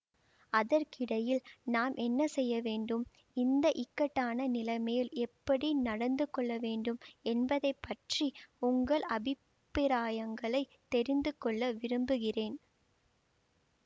அதற்கிடையில் நாம் என்ன செய்யவேண்டும் இந்த இக்கட்டான நிலைமையில் எப்படி நடந்து கொள்ளவேண்டும் என்பதை பற்றி உங்கள் அபிப்பிராயங்களைத் தெரிந்துகொள்ள விரும்புகிறேன்